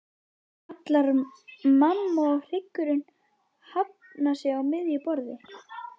kallar mamma og hryggurinn hafnar sig á miðju borði.